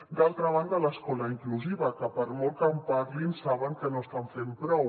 d’altra banda l’escola inclusiva que per molt que en parlin saben que no estan fent prou